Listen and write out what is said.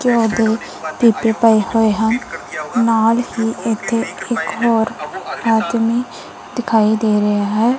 ਘਿਓ ਦੇ ਪੀਪੇ ਪਏ ਹੋਏ ਹਨ ਅਤੇ ਨਾਲ ਹੀ ਇੱਥੇ ਇੱਕ ਹੋਰ ਆਦਮੀ ਦਿਖਾਈ ਦੇ ਰਿਹਾ ਹੈ।